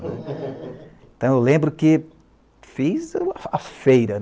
Então eu lembro que fiz a feira.